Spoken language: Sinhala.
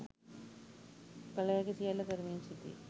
කල හැකි සියල්ල කරමින් සිටී